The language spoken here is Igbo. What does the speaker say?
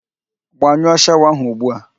Gbanyụọ shawa ahụ ugbu a!